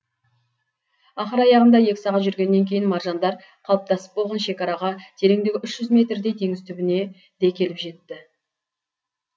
ақыр аяғында екі сағат жүргеннен кейін маржандар қалыптасып болған шекараға тереңдігі үш жүз метрдей теңіз түбіне де келіп жеттік